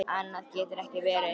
Annað getur ekki verið.